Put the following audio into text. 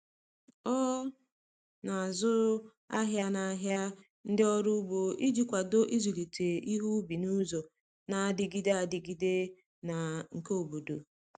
O na-azụ ahịa n’ahịa ndị ọrụ ugbo iji kwado ịzụlite ihe ubi n’ụzọ na-adịgide adịgide na nke obodo.